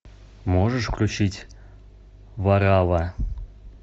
можешь включить варавва